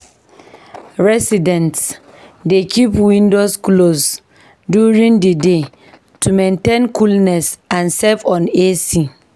Residents dey keep windows closed during the day to maintain coolness and save on AC.